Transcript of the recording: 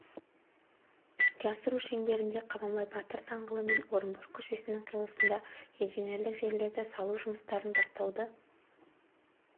іске асыру шеңберінде қабанбай батыр даңғылы мен орынбор көшелесінің қиылысында инженерлік желілерді салу жұмыстарын бастауды